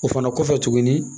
O fana kɔfɛ tuguni